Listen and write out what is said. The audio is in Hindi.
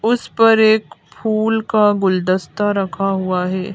उस पर एक फूल का गुलदस्ता रखा हुआ है।